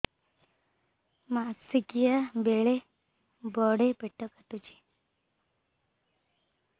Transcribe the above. ମାସିକିଆ ବେଳେ ବଡେ ପେଟ କାଟୁଚି